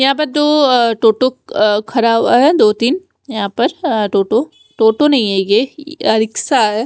यहाँ पर दो टो टोटो ख़राब है दो दिन यहाँ पर टोटो नही है ये रिक्शा है।